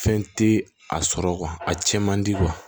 Fɛn tɛ a sɔrɔ a cɛn man di